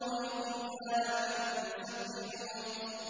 وَإِنَّا لَنَحْنُ الْمُسَبِّحُونَ